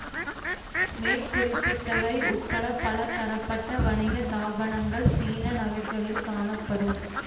மேற் குறிப்பிட்டவை உட்பட பல தரப்பட்ட வணிக தாபனங்கள் சீன நகர்களில் காணப்படும்